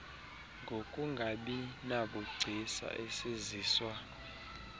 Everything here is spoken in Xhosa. ngokungabi nabugcisa esiziswa